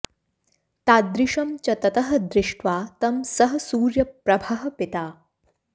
तादृशं च ततः दृष्ट्वा तं सः सूर्यप्रभः पिता